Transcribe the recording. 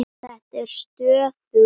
Þetta er stöðug leit!